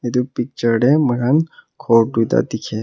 etu picture te moi khan ghor tuita dikhi ase.